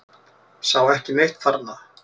Sá ekki neitt þarna.